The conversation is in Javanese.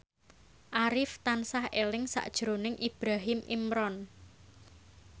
Arif tansah eling sakjroning Ibrahim Imran